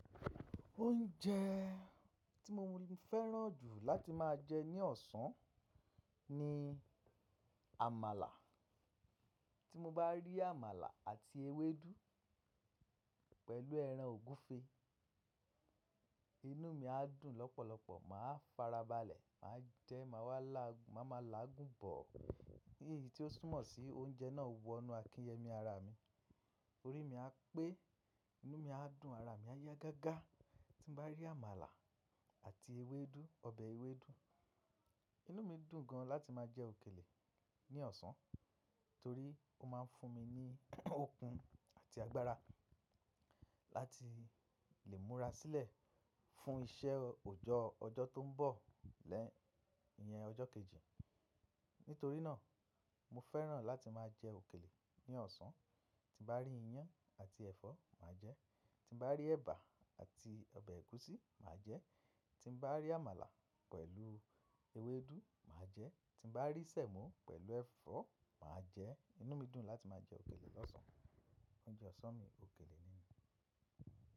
Oúnjẹ tí mo ń fẹ́ràn jù láti máa jẹ ní ọ̀sán ni àmàlà. Tí mo bá rí àmàlà àti ewédú pẹ̀lú ẹran ògúfe, inú mi á dùn lọ́pọ̀lọpọ̀, màá farabalẹ̀, màá jẹ, màá wa laa, ma màá lágùn bọ̀. Ní èyí tí ó súnmọ́ sí oúnjẹ náà wọ inú akíyẹmi ara mi, orí mi á pé, inú mi á dùn, ara mi á yá gágá. Tí n bá rí àmàlà àti ewédú, ọbẹ̀ ewédú, inú mi dùn gan láti máa jẹ òkèlè ní ọ̀sán torí ó máa ń fún mi ní okun àti agbára láti lè múra sílẹ̀ fún iṣẹ́ òjọ́ ọjọ́ tó ń bọ̀ lẹ́ẹ̀yín ọjọ́ kejì. Nítorí náà, mo fẹ́ràn láti máa jẹ òkèlè ní ọ̀sán. Tí n bá rí iyán àti ẹ̀fọ́, màá jẹ. Tí n bá rí ẹba àti ọbẹ̀ ẹ̀gúsí, màá jẹ. Tí bá rí àmàlà pẹ̀lú ewédú, màá jẹ. Tí n bá rí sẹ̀mọ́ pẹ̀lú ẹ̀fọ́, màá jẹ. Inú mi dùn láti máa jẹ òkèlè lọ́sàn-án. Oúnjẹ ọ̀sán mi, òkèlè ni.